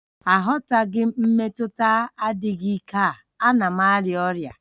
Aghọtaghị m mmetụta adịghị ike a, a na m arịa ọrịa